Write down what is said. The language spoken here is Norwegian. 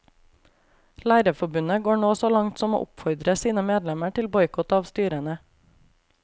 Lærerforbundet går nå så langt som å oppfordre sine medlemmer til boikott av styrene.